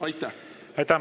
Aitäh!